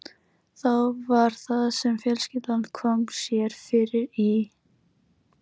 Þá var það sem fjölskyldan kom sér fyrir í